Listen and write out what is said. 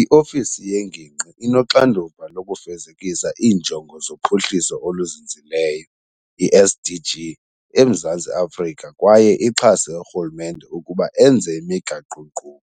i-ofisi yengingqi inoxanduva lokufezekisa iiNjongo zoPhuhliso oluZinzileyo, i-SDG, eMzantsi Afrika kwaye ixhase urhulumente ukuba enze imigaqo-nkqubo.